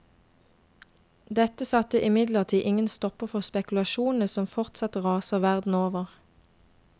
Dette satte imidlertid ingen stopper for spekulasjonene som fortsatt raser verden over.